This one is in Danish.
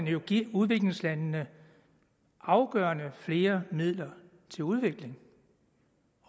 jo give udviklingslandene afgørende flere midler til udvikling